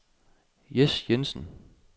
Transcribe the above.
Jes Jensen